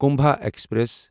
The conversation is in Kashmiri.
کُمبھا ایکسپریس